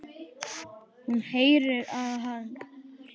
Hún heyrir að hann hlær.